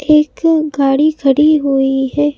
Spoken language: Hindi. एक गाड़ी खड़ी हुई है।